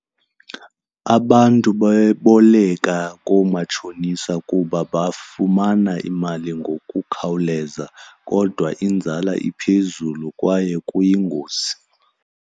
Abantu bayaboleka koomatshonisa kuba bafumana imali ngokukhawuleza, kodwa inzala iphezulu kwaye kuyingozi.